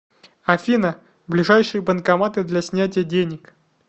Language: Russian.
афина ближайшие банкоматы для снятия денег